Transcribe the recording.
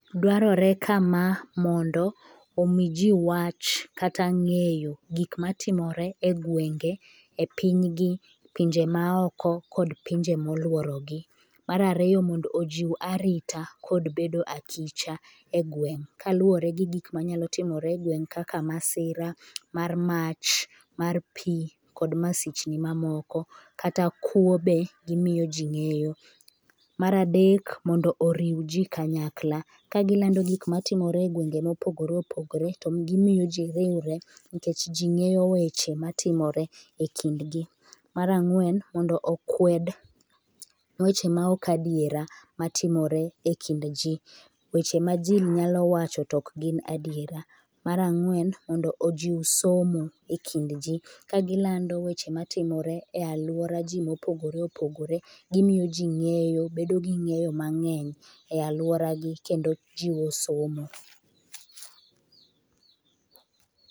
Dwarore kama mondo omi ji wach kata ng'eyo gik matimore e gwenge, epiny gi kata pinje maoko kata pinje moluoro gi ,mar ariyo mondo ojiw arita kod bedo akicha e gweng' kaluwore gi gik manyalo timore e gweng kaka masira mar mach mar pi kod masichni mamoko kata kuo be gimiyo ji ng'eyo, mar adek mondo oriw ji kanyakla ka gilando gik matimore e gwenge mopogore opogore to gimiyo ji riwrenikech ji ngeyo weche matimore e kind gi. Mar angwen ,mondo okwed weche ma ok adiera matimore e kind ji, weche ma ji nyalo wacho to ok gin adiera, mar angwen mondo ojiw somo e kind ji ka gilando weche matimore e aluora ji mopogore opogore ,gimiyo ji ng'eyo mang'eny e aluora gi kendo jiwo somo